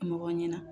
Mɔgɔ ɲɛna